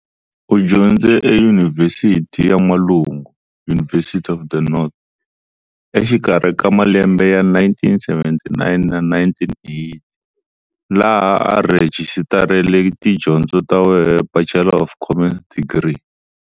U dyondze eYunivhesiti ya N'walungu, University of the North, exikarhi ka malembe ya 1979 na 1980, laha a rhejistarele tidyondzo ta where Bachelor of Commerce degree.